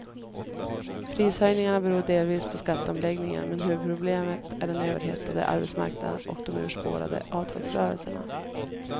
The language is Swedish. Prishöjningarna beror delvis på skatteomläggningen, men huvudproblemet är den överhettade arbetsmarknaden och de urspårade avtalsrörelserna.